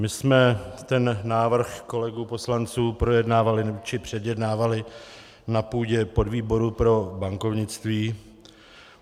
My jsme ten návrh kolegů poslanců projednávali či předjednávali na půdě podvýboru pro bankovnictví.